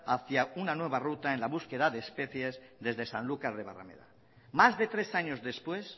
hacia una nueva ruta en la búsqueda de especies desde sanlucar de barrameda más de tres años después